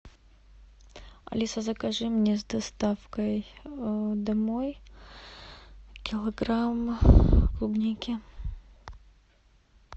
алиса закажи мне с доставкой домой килограмм клубники